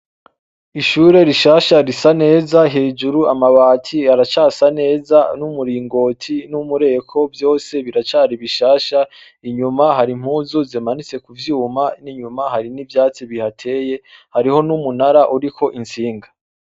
Ishure rishasha risa neza hejuru amabati aracasa neza, n'umuringoti, n'umureko vyose biracari bishasha, inyuma hari impuzu zimanitse kuvyuma, n'inyuma hari n'ivyatsi bihateye, hariho n'umunara uriko intsinga.